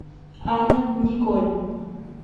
анна николь